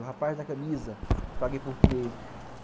O rapaz da camisa, paguei por mês.